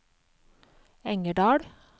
Engerdal